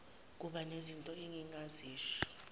kuba nezinto engingazisho